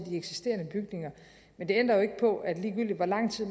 eksisterende bygninger men det ændrer jo ikke på at ligegyldigt hvor lang tid